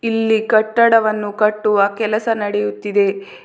ಇಲ್ಲಿ ಕಟ್ಟಡವನ್ನು ಕಟ್ಟುವ ಕೆಲಸ ನಡೆಯುತ್ತಿದೆ.